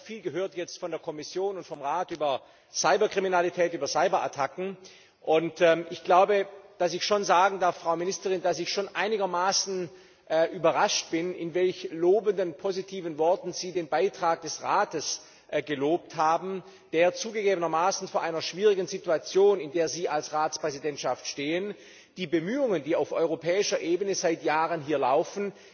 Wir haben jetzt viel von der Kommission und vom Rat über Cyberkriminalität und Cyberattacken gehört, und ich glaube, dass ich schon sagen darf, Frau Ministerin, dass ich einigermaßen überrascht bin, in welch positiven Worten Sie den Beitrag des Rates gelobt haben, der zugegebenermaßen in einer schwierigen Situation, in der Sie als Ratspräsidentschaft stehen die Bemühungen, die auf europäischer Ebene seit Jahren hier laufen,